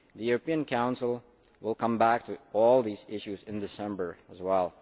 The European Council will come back with all these issues in December as well.